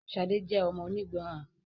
Shade jé ọmọ onígbọràn